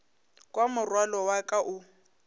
kwa morwalo wa ka o